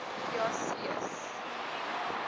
jasues